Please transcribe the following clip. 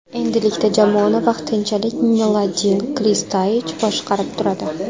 Endilikda jamoani vaqtinchalik Mladen Krstaich boshqarib turadi.